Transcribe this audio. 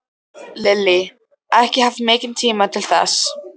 Lillý: Ekki haft mikinn tíma til þess?